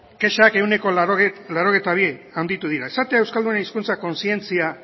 kexak ehuneko laurogeita bi handitu dira esatea euskaldunen hizkuntza kontzientzia